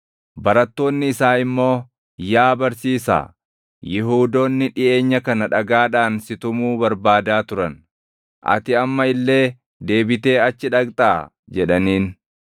Barattoonni isaa immoo, “Yaa Barsiisaa, Yihuudoonni dhiʼeenya kana dhagaadhaan si tumuu barbaadaa turan; ati amma illee deebitee achi dhaqxaa?” jedhaniin.